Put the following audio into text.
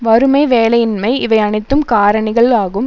வறுமை வேலையின்மை இவை அனைத்தும் காரணிகள் ஆகும்